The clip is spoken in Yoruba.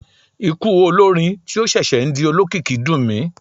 Ikú olórin tí ó ṣẹ̀ṣẹ̀ ń di olókìkí dùn mí.